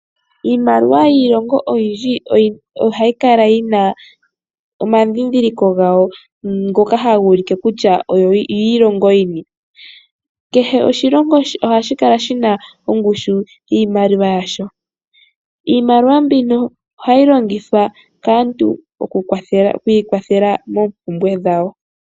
Iimaliwa yiilongo oyindji ohayi kala yina omadhidhiliko gawo ngoka haga ulike kutya oyo oyiilingo yini kehe oshilongo ohashi kala shina ongushu yiimaliwa yasho, iimaliwa mbino ohayi longithwa kaantu oku ikwathela moopumbwe dhawo.